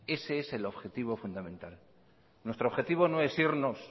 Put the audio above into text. ese es el objetivo fundamental nuestro objetivo no es irnos